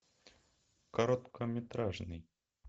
короткометражный